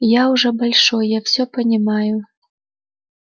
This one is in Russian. я уже большой я всё понимаю